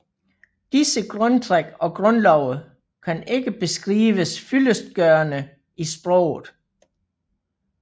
Disse grundtræk og grundlove kan ikke beskrives fyldestgørende i sproget